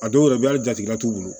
A dɔw yɛrɛ bɛ yen hali jatigila t'u bolo